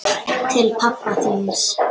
Til pabba þíns.